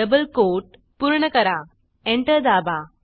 double quote पूर्ण कराएंटर दाबा